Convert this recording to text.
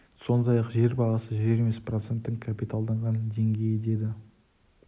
сондай ақ жер бағасы жер емес проценттің капиталданған деңгейі деді